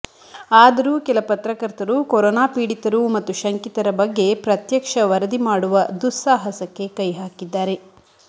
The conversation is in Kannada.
ಆದರೂ ಕೆಲ ಪತ್ರಕರ್ತರು ಕೊರೋನಾ ಪೀಡಿತರು ಮತ್ತು ಶಂಕಿತರ ಬಗ್ಗೆ ಪ್ರತ್ಯಕ್ಷ ವರದಿ ಮಾಡುವ ದುಸ್ಸಾಹಸಕ್ಕೆ ಕೈಹಾಕಿದ್ದಾರೆ